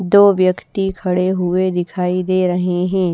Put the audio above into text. दो व्यक्ति खड़े हुए दिखाई दे रहे हैं।